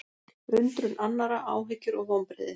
Undrun annarra, áhyggjur og vonbrigði